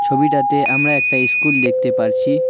ছবিটাতে আমরা একটা ইস্কুল দেখতে পারছি।